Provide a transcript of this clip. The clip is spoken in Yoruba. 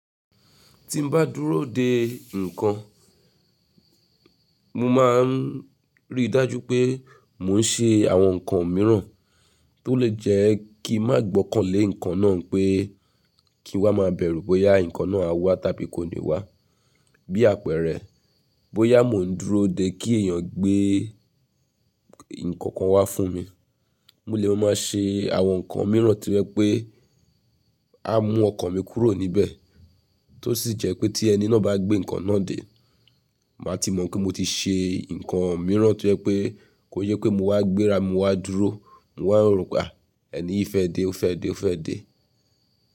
Tí mbá dúró de nǹkan, mo máa ń rí i dájú pé mò ń ṣe àwọn nǹkan mìíràn tó lè jẹ́ kí n má gbọ́kàn lé nǹkan náà pé kí n wá máa bẹ̀rù bóyá nǹkan náà á wá tàbí kò ní wá. Bí àpẹrẹ, bóyá mò ń dúró de kí èèyàn gbé nǹkan kan wá fún mi, mo lè máa ṣe àwọn nǹkan mìíràn tí o je pé á mú ọkàn mi kúrò níbẹ̀ tó sì jẹ́ pé tí ẹni náà bá gbé nǹkan náà dé, màá ti mọ̀ pé mo ti ṣe nǹkan mìíràn tí o jẹ́ pé kò yẹ pé mo wá gbéra, mo wá dúró, mo wá n roo pe á. Ẹ̀ní yi feẹ́ dé, ó feẹ́ dé, ó feẹ́ dé.